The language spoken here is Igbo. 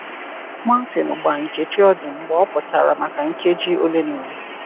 Martin gbaa Nkechi ọdụ mgbe ọ pụchara maka nkeji ole na ole.